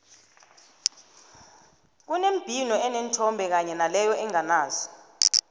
kunembhino eneenthombe kanye naleyo enganazo